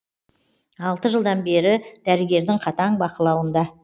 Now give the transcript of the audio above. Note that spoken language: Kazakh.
алты жылдан бері дәрігердің қатаң бақылауында